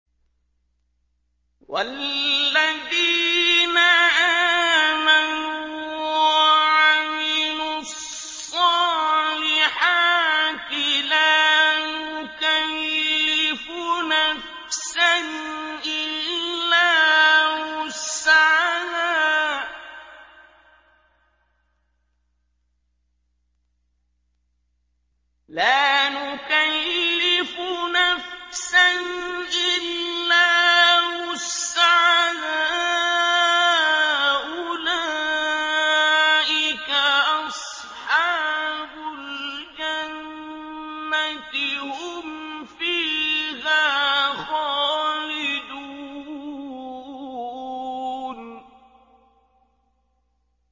وَالَّذِينَ آمَنُوا وَعَمِلُوا الصَّالِحَاتِ لَا نُكَلِّفُ نَفْسًا إِلَّا وُسْعَهَا أُولَٰئِكَ أَصْحَابُ الْجَنَّةِ ۖ هُمْ فِيهَا خَالِدُونَ